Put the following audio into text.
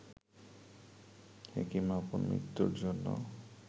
হেকিম আপন মৃত্যুর জন্য